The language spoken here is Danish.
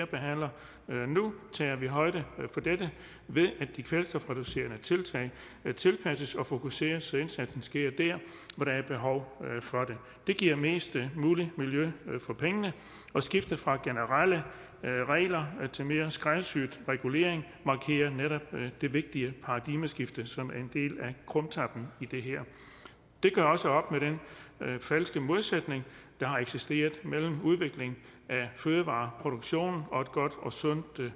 behandler her tager vi højde for dette ved at de kvælstofreducerende tiltag tilpasses og fokuseres så indsatsen sker der hvor der er behov for det det giver mest muligt miljø for pengene og skiftet fra generelle regler til mere skræddersyet regulering markerer netop det vigtige paradigmeskift som er en del af krumtappen i det her det gør også op med den falske modsætning der har eksisteret mellem udvikling af fødevareproduktion og et godt og sundt